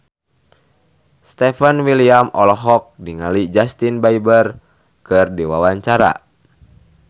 Stefan William olohok ningali Justin Beiber keur diwawancara